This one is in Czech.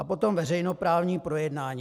A potom veřejnoprávní projednání.